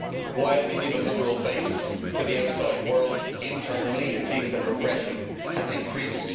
While they give a liberal face to the outside world, internally it seems that repression has increased.